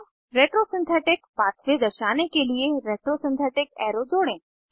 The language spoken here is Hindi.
अब रेट्रो सिंथेटिक पाथवे दर्शाने के लिए रेट्रो सिंथेटिक एरो जोड़ें